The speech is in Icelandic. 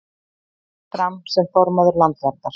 Býður sig fram sem formaður Landverndar